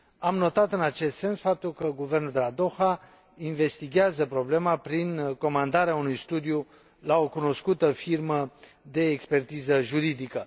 Am notat în acest sens faptul că guvernul de la Doha investighează problema prin comandarea unui studiu la o cunoscută firmă de expertiză juridică.